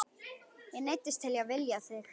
Ég neyddist til að vilja þig.